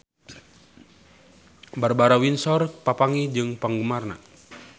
Barbara Windsor papanggih jeung penggemarna